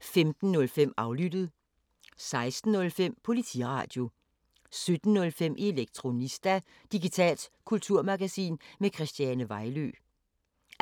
15:05: Aflyttet 16:05: Politiradio 17:05: Elektronista – digitalt kulturmagasin med Christiane Vejlø